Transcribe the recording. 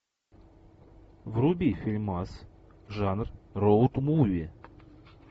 вруби фильмас жанр роуд муви